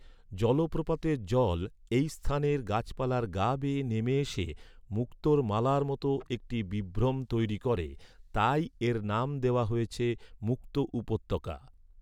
জলপ্রপাতের জল এই স্থানের গাছপালার গা বেয়ে নেমে এসে মুক্তোর মালার মতো একটি বিভ্রম তৈরী করে, তাই এর নাম দেওয়া হয়েছে মুক্তো উপত্যকা।